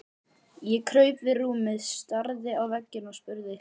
Ég kraup við rúmið, starði á vegginn og spurði